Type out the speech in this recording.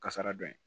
Kasara dɔ ye